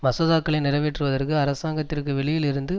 மசோதாக்களை நிறைவேற்றுவதற்கு அரசாங்கத்திற்கு வெளியில் இருந்து